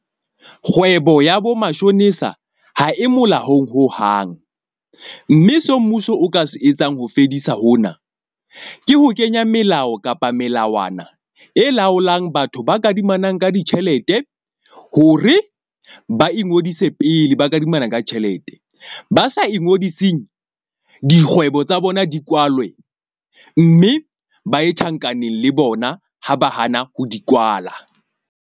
Kgwebo ya bo mashonisa ha e molaong hohang. Mme seo mmuso o ka se etsang ho fedisa hona ke ho kenya melao kapa melawana e laolang batho ba kadimanang ka ditjhelete hore ba ingodise pele ba kadimana ka tjhelete. Ba sa ingodise dikgwebo tsa bona di kwalwe mme ba ye tjhankaneng le bona ha ba hana ho di kwala.